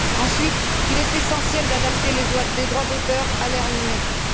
Ensuite, il est essentiel d'adapter les droits d'auteur à l'ère numérique.